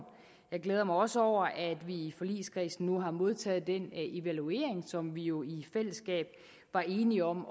jeg glæder mig også over at vi i forligskredsen nu har modtaget den evaluering som vi jo i i fællesskab var enige om